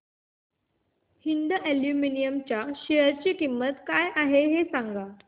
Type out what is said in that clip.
Hind aluminium च्या share ची किंमत काय आहे हे सांगा